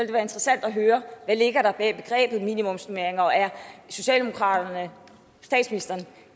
det være interessant at høre hvad ligger der bag begrebet minimumsnormeringer og er socialdemokraterne statsministeren